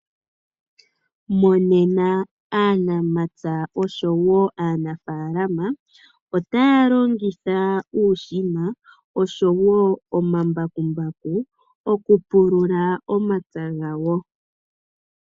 Monena aanamapya oshowo aanafalama, otaya longitha uushina, oshowo omambakumbaku, okupulula omapya gawo.